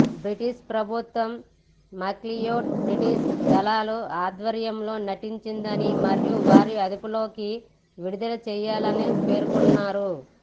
British ప్రభుత్వం McLeod British దళాల ఆధ్వర్యంలో నటించిందని మరియు వారి అదుపులోకి విడుదల చేయాలని పేర్కొన్నారు